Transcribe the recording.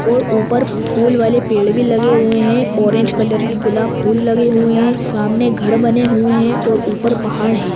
--और ऊपर फूल वाले पेड़ भी लगे हुए हैं। ऑरेंज कलर के गुलाब फूल लगे हुए हैं। सामने घर बने हुए हैं और ऊपर पहाड़ है।